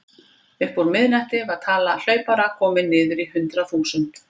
Upp úr miðnætti var tala hlaupara komin niður í hundrað þúsund.